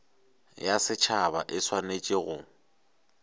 ya setšhaba e swanetše go